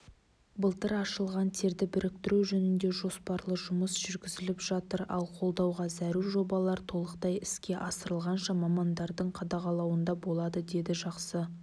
былтыр ашылған терді біріктіру жөнінде жоспарлы жұмыс жүргізіліп жатыр ал қолдауға зәру жобалар толықтай іске асырылғанша мамандардың қадағалауында болады деді жақсы